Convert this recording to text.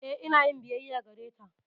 Eh, ina yin biyayya gareta.